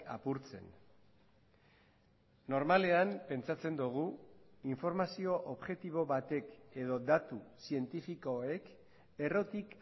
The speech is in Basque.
apurtzen normalean pentsatzen dugu informazio objektibo batek edo datu zientifikoek errotik